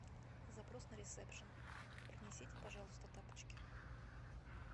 запрос на ресепшн принесите пожалуйста тапочки